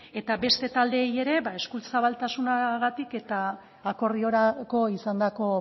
eta beste taldeei ere eskuzabaltasunagatik eta akordiorako izandako